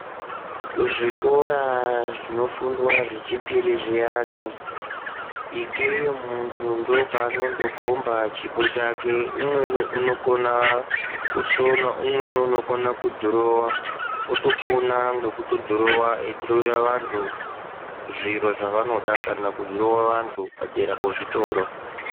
Kuzvikora zvinofundwa zvechipiri zviyani svikeyi muntu ndookwanokhomba chipo chake. Umweni unokona kusona. Umweni unokona kudhirowa topona ngekudhirowa eitodhirowera antu zviro zvavanoda kana kudhirowa vantu padera pezvitoro.